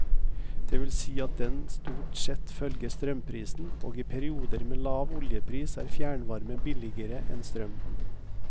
Det vil si at den stort sett følger strømprisen, og i perioder med lave oljepriser er fjernvarme billigere enn strøm.